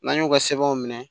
N'an y'o ka sɛbɛnw minɛ